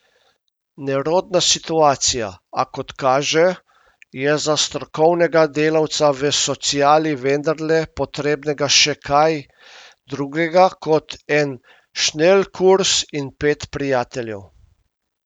Nerodna situacija, a kot kaže, je za strokovnega delavca v sociali vendarle potrebnega še kaj drugega kot en šnelkurs in pet prijateljev.